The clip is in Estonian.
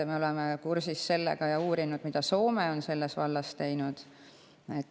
Me oleme kursis sellega ja me oleme uurinud seda, mida Soome on selles vallas teinud.